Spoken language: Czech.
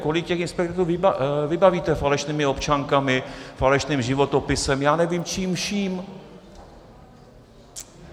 Kolik těch inspektorů vybavíte falešnými občankami, falešným životopisem, já nevím čím vším?